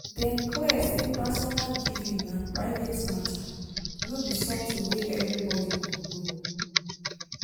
dem clear say personal giving na private matter no be something wey everybody go know.